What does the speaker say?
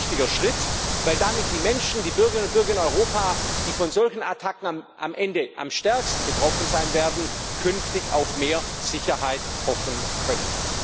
Das ist ein wichtiger Schritt, weil damit die Menschen, die Bürgerinnen und Bürger in Europa, die von solchen Attacken am Ende am stärksten betroffen sein werden, künftig auf mehr Sicherheit hoffen können.